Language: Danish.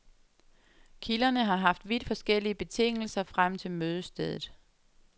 Kilderne har haft vidt forskellige betingelser frem til mødestedet.